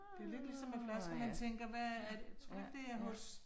Det lidt ligesom med flasker, man tænker hvad er, tror du ikke det er hos